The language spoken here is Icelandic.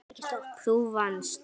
Þú vannst.